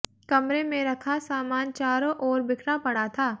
कमरे में रखा सामान चारों ओर बिखरा पड़ा था